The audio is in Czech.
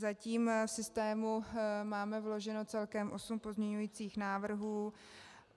Zatím v systému máme vloženo celkem osm pozměňovacích návrhů.